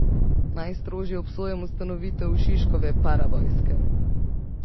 Najstrožje obsojam ustanovitev Šiškove paravojske.